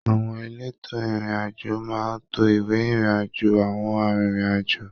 Àwọn èlétò ìrìn àjò máa n to ìwé ìrìn àjò awọn arinrin-ajo